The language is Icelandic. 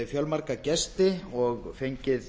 fjölmarga gesti og fengið